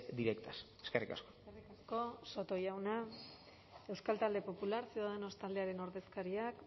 directas eskerrik asko eskerrik asko soto jauna euskal talde popular ciudadanos taldearen ordezkariak